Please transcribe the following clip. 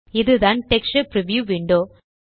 இதுதான் texture preview window